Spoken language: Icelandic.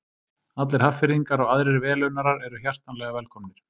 Allir Hafnfirðingar og aðrir velunnarar eru hjartanlega velkomnir!